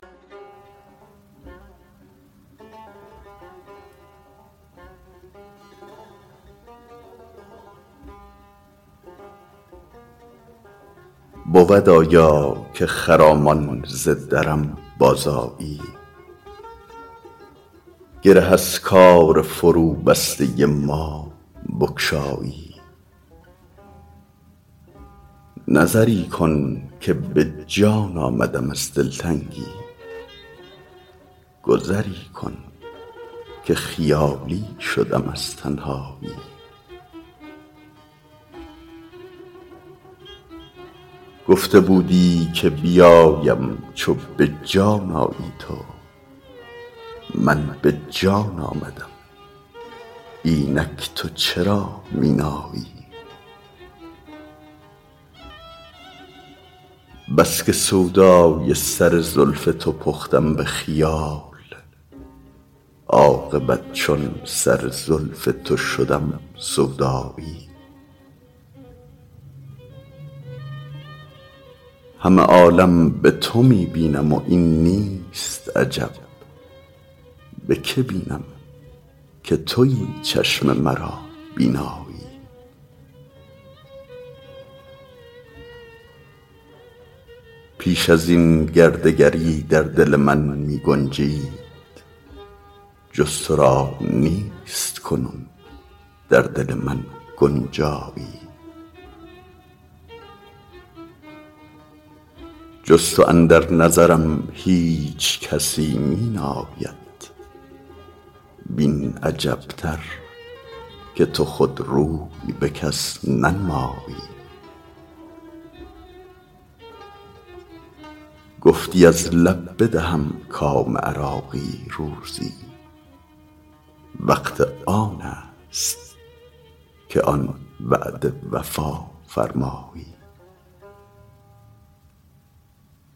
بود آیا که خرامان ز درم بازآیی گره از کار فروبسته ما بگشایی نظری کن که به جان آمدم از دلتنگی گذری کن که خیالی شدم از تنهایی گفته بودی که بیایم چو به جان آیی تو من به جان آمدم اینک تو چرا می نایی بس که سودای سر زلف تو پختم به خیال عاقبت چون سر زلف تو شدم سودایی همه عالم به تو می بینم و این نیست عجب به که بینم که تویی چشم مرا بینایی پیش ازین گر دگری در دل من می گنجید جز تو را نیست کنون در دل من گنجایی جز تو اندر نظرم هیچ کسی می ناید وین عجبتر که تو خود روی به کس ننمایی گفتی از لب بدهم کام عراقی روزی وقت آن است که آن وعده وفا فرمایی